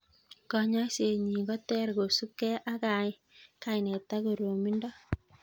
Konyoiset nyi koter kosupke ak kainet ak koromindo